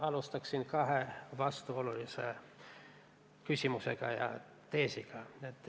Ma alustan kahe vastuolulise küsimuse ja teesiga.